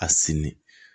A sini